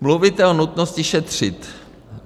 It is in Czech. Mluvíte o nutnosti šetřit.